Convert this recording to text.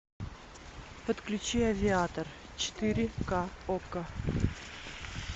подключи авиатор четыре ка окко